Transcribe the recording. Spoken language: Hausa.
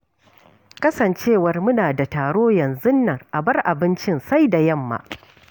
Kasancewar muna da taro yanzun nan a bar abinci sai da yamma.